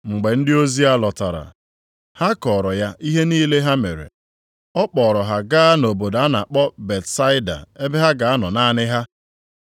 Mgbe ndị ozi a lọtara, ha kọọrọ ya ihe niile ha mere. Ọ kpọọrọ ha gaa nʼobodo a na-akpọ Betsaida ebe ha ga-anọ naanị ha.